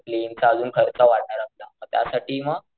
ते प्लेन चा आजून खर्च वाढायला होता मग त्यासाठी मग